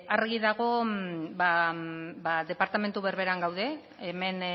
argi dago ba departamentu berberean gaude hemen